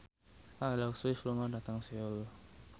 Taylor Swift lunga dhateng Seoul